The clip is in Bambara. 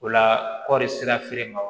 O la kɔɔri sera feere ma